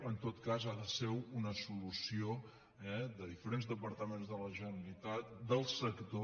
en tot cas ha de ser una solució de diferents departaments de la generalitat del sector